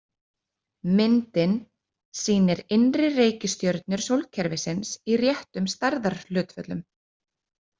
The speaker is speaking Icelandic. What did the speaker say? Myndin sýnir innri reikistjörnur sólkerfisins í réttum stærðarhlutföllum.